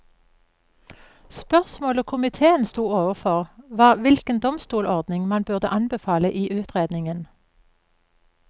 Spørsmålet komiteen stod overfor var hvilken domstolordning man burde anbefale i utredningen.